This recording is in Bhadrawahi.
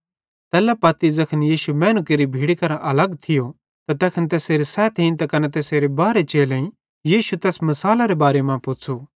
तैल्ला पत्ती ज़ैखन यीशु मैनू केरि भीड़ी करां अलग थियो त तैखन तैसेरे सैथेईं त कने तैसेरे बारहे चेलेईं यीशु तैस मिसालेरे बारे मां पुच़्छ़ू